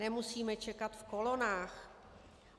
Nemusíme čekat v kolonách.